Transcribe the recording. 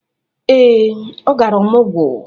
Ee, ọ gara ọmọgwọ.